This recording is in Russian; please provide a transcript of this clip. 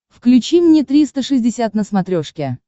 включи мне триста шестьдесят на смотрешке